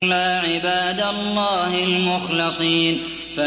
إِلَّا عِبَادَ اللَّهِ الْمُخْلَصِينَ